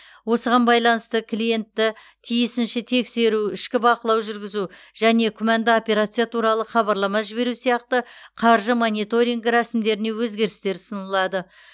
осыған байланысты клиентті тиісінше тексеру ішкі бақылау жүргізу және күмәнді операция туралы хабарлама жіберу сияқты қаржы мониторингі рәсімдеріне өзгерістер ұсынылады